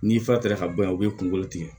N'i fa taara ka bɔ yan u bɛ kunkolo tigɛ